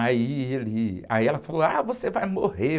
Aí ele, aí ela falou, ah, você vai morrer.